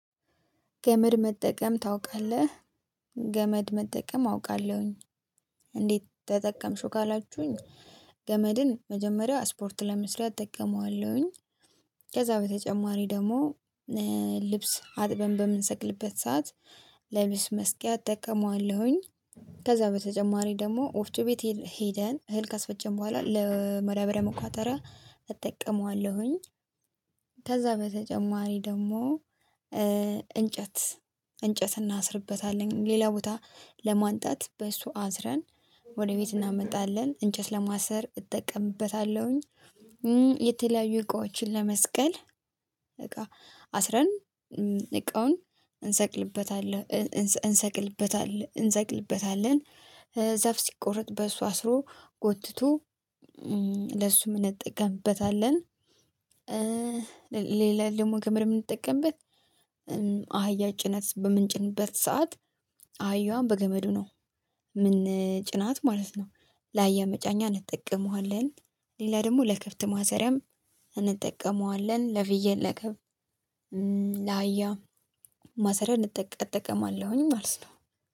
ገመድ መጠቀም ታውቃለህ? ገመድ መጠቀም አውቃለሁኝ? እንዴት ተጠቀምሽው ካላችሁኝ ገመድን መጀመሪያ ስፖርት ለመስለው እጠቀመዋለሁኝ። ከዛ በተጨማሪ ደግሞ ልብስ አጥበን በምንሰቅልበት ሰዓት ለልብስ መስቀያ እጠቀመዋለሁኝ። ከዛ በተጨማሪ ደግሞ ወፍ ቱ ቢት ሄደን እህል ካስፈጀን በኋላ ለመዳብሪያ መቋጠሪያ እጠቀመዋለሁኝ። ከዛ በተጨማሪ ደግሞ እንጨት እንጨት እናስርበታለን ሌላ ቦታ ለማንጣት በሱ አዝረን ወደ ቤት እናመጣለን እንጨት ለማሰር እጠቀምበታለሁኝ። የተለያዩ እቃዎችን ለመስቀል አስረን እቃውን እንሰቅልበታለን። ዛፍ ሲቆረጥ በሷ ስሮ ጎትቶ ለሱ እንጠቀምበታለን። ሌላ ደግሞ ገመር የምንጠቀምበት አህያ ጭናት በምንጭንበት ሰዓት አህያዋን በገመዱ ነው። ምን ጭናት ማለት ነው። ለአያ የመጫኛ እንጠቀመዋለን። ሌላ ደግሞ ለክብት ማሰሪያም እንጠቀመዋለን ለብዬ ለክብ ለቀብ ላያም ማሰሪያ እጠቀማለሁኝ ማለት ነው